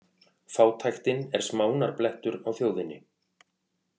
Fátæktin er smánarblettur á þjóðinni